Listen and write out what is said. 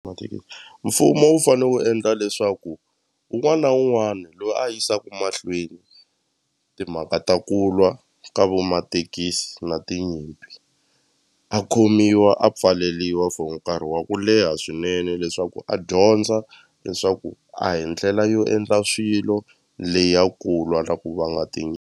mfumo wu fane wu endla leswaku wun'wana na wun'wana loyi a yisaku mahlweni timhaka ta ku lwa ka vo mathekisi na tinyimpi a khomiwa a pfaleliwa for nkarhi wa ku leha swinene leswaku a dyondza leswaku a hi ndlela yo endla swilo leya kulwa na vanga .